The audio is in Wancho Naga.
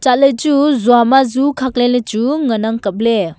chatley chu zua ma zu khakley lechu ngan ang kapley.